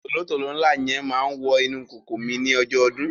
tòlótòló ńlá yẹn máa wọ inú ìkòkò mi ní ọjọ́ ọdún.